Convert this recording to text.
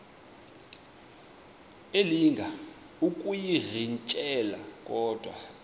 elinga ukuyirintyela kodwa